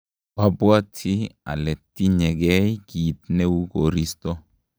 oabwoti ale tinyegei kiit neuu koristo